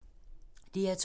DR2